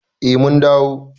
Eh mun dawo.